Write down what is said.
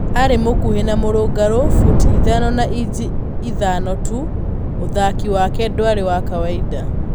Ari mukuhi na murungaru, futi ithano na inji itano tu, uthaki wake dwari wa kawaida.